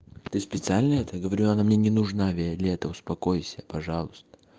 ты специально это говорю она мне не нужна виолетта успокойся пожалуйста